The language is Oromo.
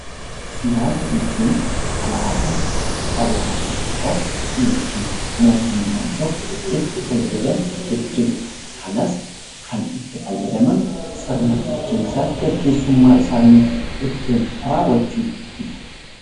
Siyaasa jechuun; faalasa hawaasni tokko ykn mootummaan tokkoo itti faayyadaamuu jechuudha. Kanas Kan itti faayyadaamaan sirna bulchinsaaf geggeessumma isaanii ittin raawwachuufidha.